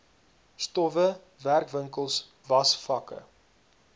stowwe werkwinkels wasvakke